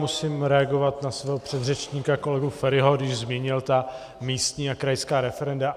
Musím reagovat na svého předřečníka kolegu Feriho, když zmínil ta místní a krajská referenda.